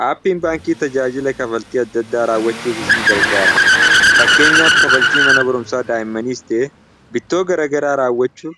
haappiin baankii tajaajila kafaltii adda ddaa raawwachuuf isin gargaara fakkeenyaaf kafaltii mana borumsaa daa'immaniis ta'e bittoo garagaraa raawwachuu